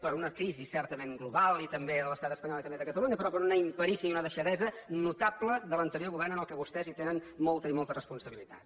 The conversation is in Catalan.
per una crisi certament global i també de l’estat espanyol i també de catalunya però per una imperícia i una deixadesa notable de l’anterior govern en què vostès tenen molta i molta responsabilitat